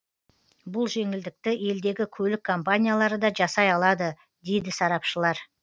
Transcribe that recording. бұл жеңілдікті елдегі көлік компаниялары да жасай алады дейді сарапшылар